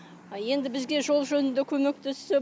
енді бізге жол жөнінде көмектессе